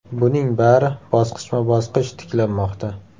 Buning bari bosqichma-bosqich tiklanmoqda.